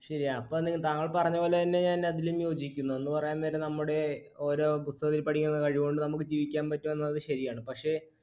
ശരിയാണ്. താങ്കൾ പറഞ്ഞപോലെതന്നെ ഞാൻ അതിലും യോജിക്കുന്നു എന്ന് പറയാൻ നേരം നമ്മുടെ ഓരോ പുസ്തകത്തിൽ പഠിക്കുന്ന കഴിവുകൊണ്ട് ജീവിക്കാൻ പറ്റുമെന്നത് ശരിയാണ്. പക്ഷെ